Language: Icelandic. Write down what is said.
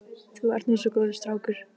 Þú ert nú svo góður strákur.